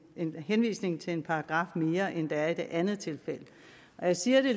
en henvisning til en paragraf mere end der er i det andet tilfælde og jeg siger det